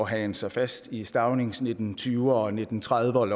hagen sig fast i staunings nitten tyverne og nitten trediverne